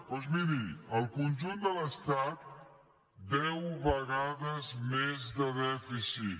doncs miri al conjunt de l’estat deu vegades més de dèficit